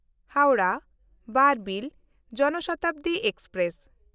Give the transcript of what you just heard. ᱦᱟᱣᱲᱟᱦ–ᱵᱟᱨᱵᱤᱞ ᱡᱚᱱ ᱥᱚᱛᱟᱵᱫᱤ ᱮᱠᱥᱯᱨᱮᱥ